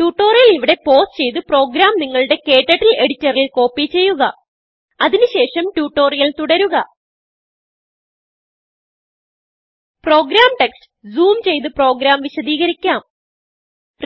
tutorial ഇവിടെ pause ചെയ്ത് program നിങ്ങളുടെ KTurtleഎഡിറ്ററിൽ കോപ്പി ചെയ്യുക അതിന് ശേഷം ട്യൂട്ടോറിയൽ തുടരുക പ്രോഗ്രാം ടെക്സ്റ്റ് ജൂം ചെയ്ത് പ്രോഗ്രാം വിശദികരിക്കാം